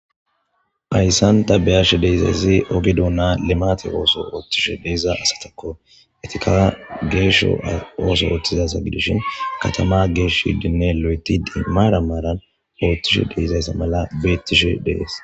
Ayssanta beyashe deyzayzi oge duuna lemate ooso oothtishe deeza asatakko etika geesho ooso ooththizasa gidushin katama geesh shidinne lo'etiimaara maaran oothtishe deizayssa mala beettishe dees.